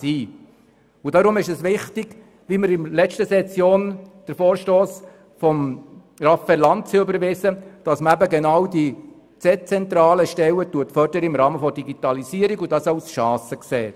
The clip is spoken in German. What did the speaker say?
Deshalb ist es wichtig – so wie wir in der letzten Session den Vorstoss von Grossrat Lanz überwiesen haben –, dass man im Rahmen der Digitalisierung die dezentralen Stellen fördert und dies als Chance sieht.